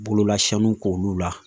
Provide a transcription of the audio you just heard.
Bololasɔnw k'olu la